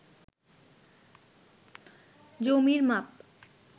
জমির মাপ